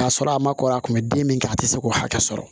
K'a sɔrɔ a ma kɔrɔ a kun bɛ den min kɛ a tɛ se k'o hakɛ sɔrɔ